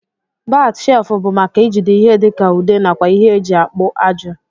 Bat shelfu bu maka ijide ihe dika ude nakwa ihe eji akpu ajụ.